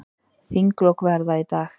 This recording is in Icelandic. Þinglok verða í dag.